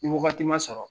Ni wagati ma sɔrɔ